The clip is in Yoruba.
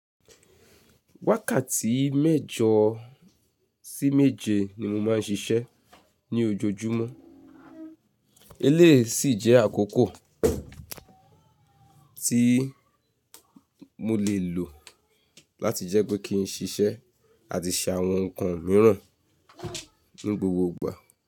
Wákàtí mẹ́jọ sí méje ni mo máà ń ṣiṣẹ́ ní ojoojúmọ́. Eléyìí sì jẹ́ àkókò tí mo lè lò láti jẹ́ pé kí n ṣiṣẹ́ àti ṣe àwọn ǹkan mìíràn ní gbogbo ìgbà.